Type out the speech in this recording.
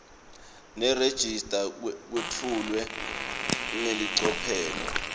nerejista kwetfulwe ngelicophelo